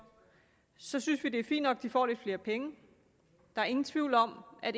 så synes vi det er fint nok at de får lidt flere penge der er ingen tvivl om at